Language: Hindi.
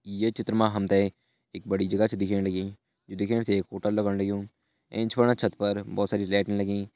ये चित्र मां हमतैं एक बड़ी जगह च दिखेण लगीं यु दिखेण से एक होटल लगण लग्यूं एंच वाला छत पर भोत सारी लाइटिंग लगीं।